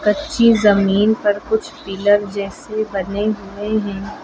कच्ची जमीन पर कुछ पिलर जैसे बने हुए हैं।